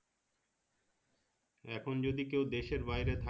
এখন যদি কেউ দেশের বাইরে